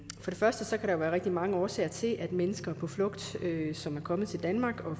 første kan være rigtig mange årsager til at mennesker på flugt som er kommet til danmark og